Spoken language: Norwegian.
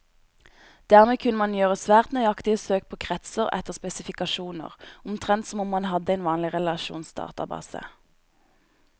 Dermed kunne man gjøre svært nøyaktige søk på kretser etter spesifikasjoner, omtrent som om man hadde en vanlig relasjonsdatabase.